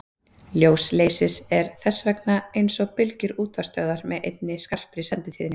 Ljós leysis er þess vegna eins og bylgjur útvarpsstöðvar með einni skarpri senditíðni.